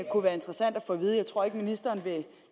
kunne være interessant at få at vide jeg tror ikke ministeren